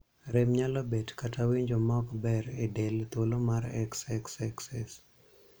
Rem nyalo bet kata winjo ma ok ber e del thuolo mar xxxxx.